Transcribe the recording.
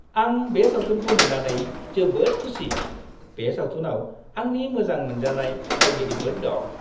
आं बे सावथुनखौ नुनानै जोबोद खुसि। बे सावथुनाव आंनि मोजां मोनजानाय फावगिरिफोर दं।